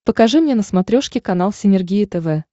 покажи мне на смотрешке канал синергия тв